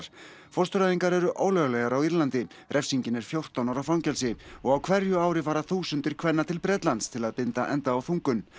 fóstureyðingar eru ólöglegar refsingin er fjórtán ára fangelsi og á hverju ári fara þúsundir kvenna til Bretlands til að binda enda á þungun